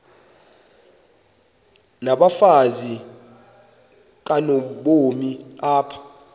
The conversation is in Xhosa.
nabafazi kanobomi apha